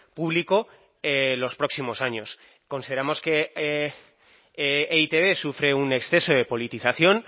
público los próximos años consideramos que e i te be sufre un exceso de politización